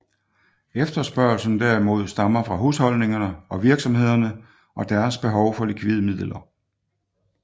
Efterspørgslen derimod stammer fra husholdningerne og virksomhederne og deres behov for likvide midler